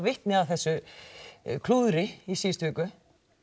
vitni að þessu klúðri í síðustu viku